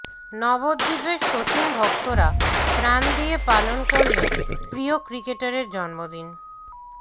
নবদ্বীপে সচিনভক্তরা ত্রাণ দিয়ে পালন করলেন প্রিয় ক্রিকেটারের জন্মদিন